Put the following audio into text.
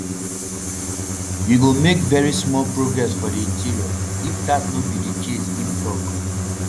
you go make veri small progress for di interior if dat no be di case im tok